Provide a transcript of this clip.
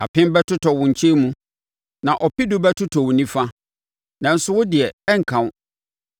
Apem bɛtotɔ wo nkyɛn mu, na ɔpedu bɛtotɔ wo nifa, nanso, wo deɛ, ɛrenka wo.